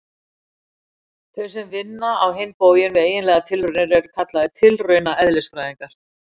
Þeir sem vinna á hinn bóginn við eiginlegar tilraunir eru kallaðir tilraunaeðlisfræðingar.